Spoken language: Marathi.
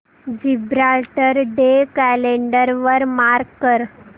जिब्राल्टर डे कॅलेंडर वर मार्क कर